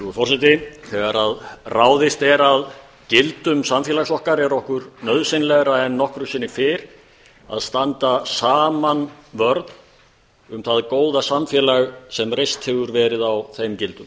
virðulegur forseti þegar ráðist er að gildum samfélags okkar er okkur nauðsynlegra en nokkru sinni fyrr að standa saman vörð um það góða samfélag sem reist hefur verið á þeim gildum